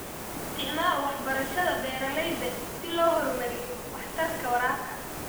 Isticmaal waxbarashada beeralayda si loo horumariyo waxtarka waraabka.